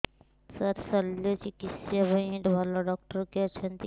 ସାର ଶଲ୍ୟଚିକିତ୍ସା ପାଇଁ ଭଲ ଡକ୍ଟର କିଏ ଅଛନ୍ତି